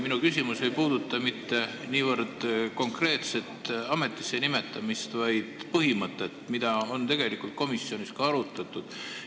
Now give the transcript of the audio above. Minu küsimus ei puuduta mitte niivõrd konkreetset ametisse nimetamist, vaid põhimõtet, mida on tegelikult komisjonis ka arutatud.